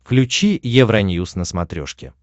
включи евроньюс на смотрешке